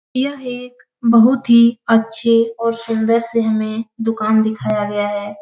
यह एक बहुत ही अच्छे और सुन्दर से हमें दुकान दिखाया गया है।